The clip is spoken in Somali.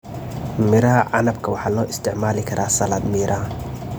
Midhaha canabka waxaa loo isticmaali karaa salad miraha.